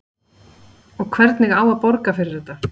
Og hvernig á að borga fyrir þetta?